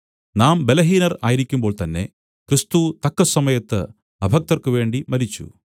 നാം ബലഹീനർ ആയിരിക്കുമ്പോൾ തന്നേ ക്രിസ്തു തക്കസമയത്ത് അഭക്തർക്കുവേണ്ടി മരിച്ചു